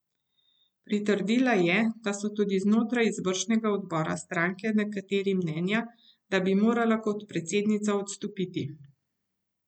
Pritrdila je, da so tudi znotraj izvršnega odbora stranke nekateri mnenja, da bi morala kot predsednica odstopiti.